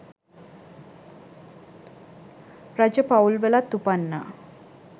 රජ පවුල්වලත් උපන්නා.